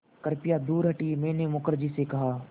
कृपया दूर हटिये मैंने मुखर्जी से कहा